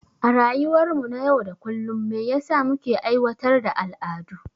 A rayuwar mu na yau da kullum me yasa muke aiwatar da al'adu?